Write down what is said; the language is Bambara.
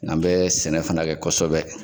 N'an bɛ sɛnɛ fana kɛ kosɛbɛ.